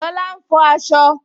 Lola ń fọ asọ